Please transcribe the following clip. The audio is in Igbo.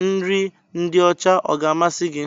Nri ndị ọcha ọ ga-amasị gị?